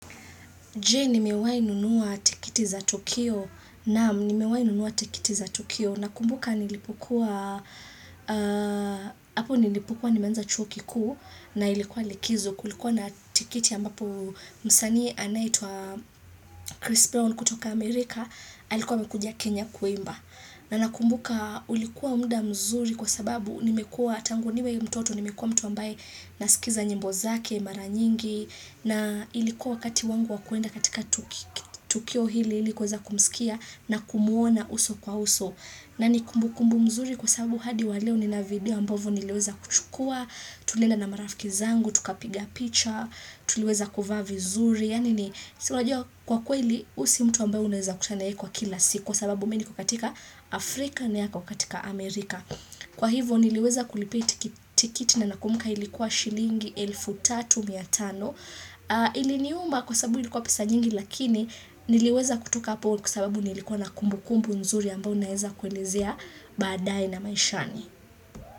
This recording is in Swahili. Je, nimewahi nunua tikiti za Tukio? Naam nimewahi nunua tikiti za Tukio. Ninakumbuka hapo nilipokuwa nimeanza chuo kikuu, na ilikuwa likizo kulikuwa na tikiti ambapo msaani anayeitwa Chris Brown kutoka Amerika alikuwa amekuja Kenya kuimba na ninakumbuka ulikuwa muda mzuri kwa sababu tangu niwe mtoto nimekuwa mtu ambaye nasikiza nyimbo zake mara nyingi na ilikuwa wakati wangu wa kuenda katika tukio hili ilikuweza kumsikiza na kumuona uso kwa uso. Na ni kumbu kumbu mzuri kwa sababu hadi wa leo nina video ambavyo nileweza kuchukua. Tulienda na marafiki zangu, tukapiga picha, tuliweza kuvaa vizuri. Yaani kwa kweli huyu sio mtu ambaye unweza kukutana naye kwa kila siku, kwa sababu mimi niko katika Afrika na yeye ako katika Amerika. Kwa hivo niliweza kulipia tikiti na ninakumbuka ilikuwa shilingi elfu tatu mia tano. Iliniuma kwa sababu ilikuwa pesa nyingi lakini niliweza kutoka hapo kwa sababu nilikuwa na kumbu kumbu nzuri ambao naeza kuelezea badaae na maishani.